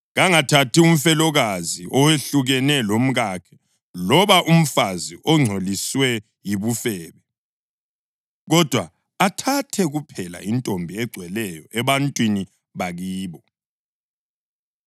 Kangathathi umfelokazi, owehlukene lomkakhe loba umfazi ongcoliswe yibufebe, kodwa athathe kuphela intombi egcweleyo ebantwini bakibo,